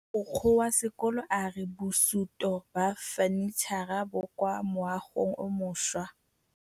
Mogokgo wa sekolo a re bosutô ba fanitšhara bo kwa moagong o mošwa.